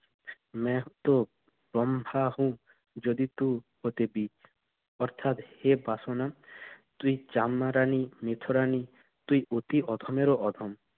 Vedic Sanskrit মেহতোব ব্রহ্মাহু যদিতু পতিবি অর্থাৎ এ বাসনা তুই চাম্বারানি নিথুরানি তুই অতি অধমেরও অধম।